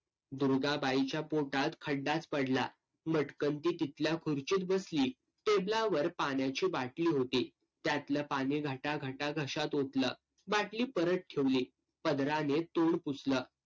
दुर्गाबाईच्या पोटात खड्डाच पडला. मटकण ती तिथल्या खुर्चीत बसली. टेबलावर पाण्याची बाटली होती. त्यातलं पाणी घटाघटा घशात ओतलं. बाटली परत ठेवली. पदराने तोंड पुसलं.